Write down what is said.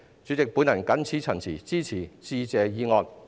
主席，我謹此陳辭，支持致謝議案。